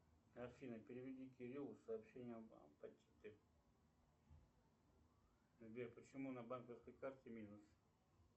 афина переведи кириллу сообщение сбер почему на банковской карте минус